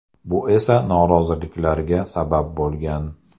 Bu esa noroziliklarga sabab bo‘lgan.